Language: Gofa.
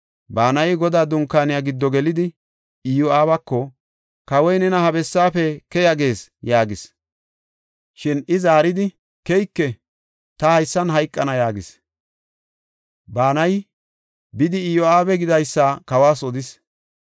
Banayi Godaa Dunkaaniya giddo gelidi Iyo7aabako, “Kawoy nena ha bessaafe keya gees” yaagis. Shin I zaaridi, “Keyike! Ta haysan hayqana” yaagis. Banayi, bidi Iyo7aabi gidaysa kawas odis.